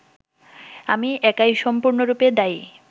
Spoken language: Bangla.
আমি একাই সম্পূর্ণরূপে দায়ী